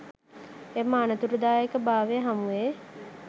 එම අනතුරුදායක භාවය හමුවේ